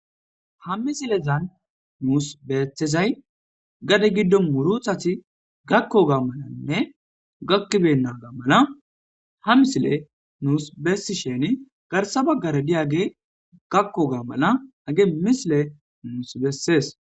Ha misilezan nus betizay gade gidon murutat gakoganne gakibeynaga mala ha misiley nus besishin garsa bagara diyagey gakoga mala hagey misiley nus beses.